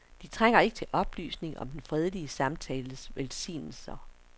De trænger ikke til oplysning om den fredelige samtales velsignelser.